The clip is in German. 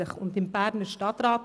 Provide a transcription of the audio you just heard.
Er war im Berner Stadtrat.